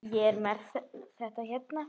Ég er með þetta hérna.